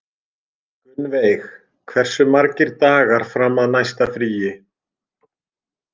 Gunnveig, hversu margir dagar fram að næsta fríi?